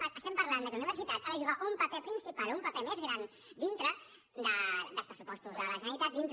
parlem del fet que la universitat ha de jugar un paper principal un paper més gran dintre dels pressupostos de la generalitat dintre